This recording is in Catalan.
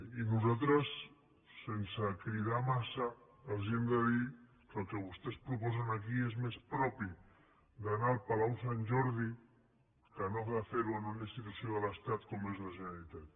i nosaltres sense cridar massa els hem de dir que el que vostès proposen aquí és més propi d’anar al palau sant jordi que no de ferho en una institució de l’estat com és la generalitat